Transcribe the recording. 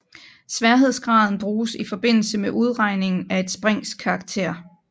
Sværhedsgraden bruges i forbindelse med udregningen af et springs karakter